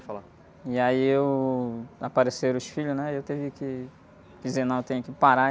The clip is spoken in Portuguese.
E aí eu... Apareceram os filhos, né? E eu tive que dizer: não, eu tenho que parar.